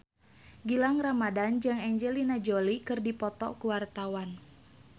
Gilang Ramadan jeung Angelina Jolie keur dipoto ku wartawan